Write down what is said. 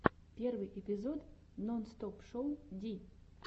первый эпизод нонстопшоу ди